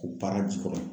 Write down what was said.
Ko baara ji kɔrɔ